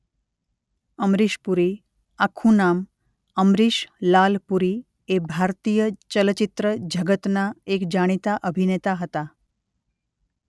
અમરીશ પુરી આખું નામ:અમરીશ લાલ પુરી એ ભારતીય ચલચિત્ર જગતના એક જાણીતા અભિનેતા હતા.